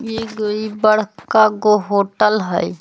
ईग ई बड़कागो होटल हई।